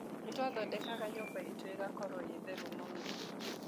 Nĩ twathondekaga nyũmba itũ ĩgakorũo theru mũno.